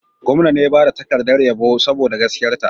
Gwamna ne ya ba ta takardar yabo saboda gaskiyarta.